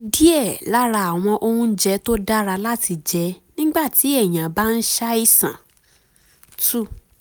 kí ni díẹ̀ lára àwọn oúnjẹ tó dára láti jẹ nígbà tí èèyàn bá ń ń ṣàìsàn? two